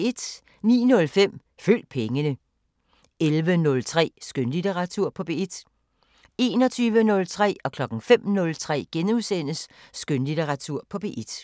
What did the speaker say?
09:05: Følg pengene 11:03: Skønlitteratur på P1 21:03: Skønlitteratur på P1 * 05:03: Skønlitteratur på P1 *